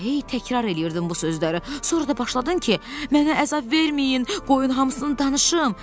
Elə hey təkrar eləyirdin bu sözləri, sonra da başladın ki, mənə əzab verməyin, qoyun hamısını danışım.